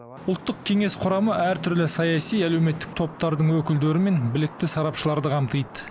ұлттық кеңес құрамы әртүрлі саяси әлеуметтік топтардың өкілдері мен білікті сарапшыларды қамтиды